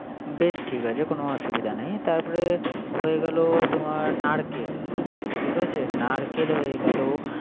Base ঠিক আছে কোন অসুবিধা নাই। তারপরে হয়ে গেল তোমার নারকেল। ঠিক আছে নারকেল হয়ে গেল